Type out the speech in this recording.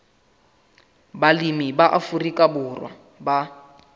balemi ba afrika borwa ba